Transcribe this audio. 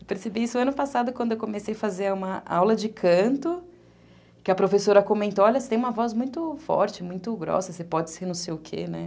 Eu percebi isso ano passado, quando eu comecei a fazer uma aula de canto, que a professora comentou, olha, você tem uma voz muito forte, muito grossa, você pode ser não sei o quê, né?